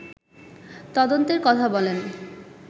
তদন্তের কথা বলেন